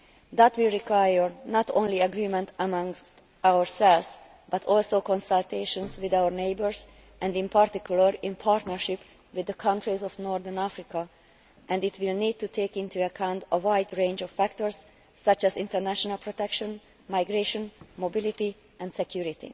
That will require not only agreement amongst ourselves, but also consultations with our neighbours and in particular in partnership with the countries of Northern Africa, and it will need to take into account a wide range of factors such as international protection, migration, mobility and security.